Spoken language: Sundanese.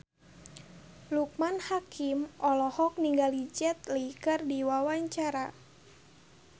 Loekman Hakim olohok ningali Jet Li keur diwawancara